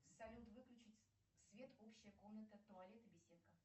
салют выключить свет общая комната туалет и беседка